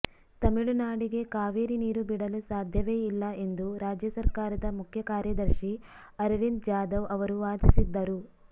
ತಮಿಳುನಾಡಿಗೆ ಕಾವೇರಿ ನೀರು ಬಿಡಲು ಸಾಧ್ಯವೇ ಇಲ್ಲ ಎಂದು ರಾಜ್ಯ ಸರ್ಕಾರದ ಮುಖ್ಯ ಕಾರ್ಯದರ್ಶಿ ಅರವಿಂದ್ ಜಾದವ್ ಅವರು ವಾದಿಸಿದ್ದರು